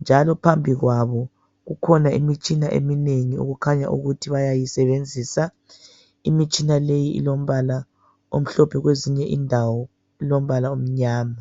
Njalo phambi kwabo kukhona imitshina eminengi okukhanya ukuthi bayayisebenzisa. Imitshina leyi ilombala omhlophe, kwezinye indawo ilombala omnyama.